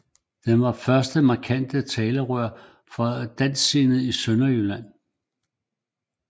Den var det første markante talerør for de dansksindede i Sønderjylland